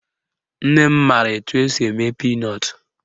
Nne m mara etu esi eme pinọtụ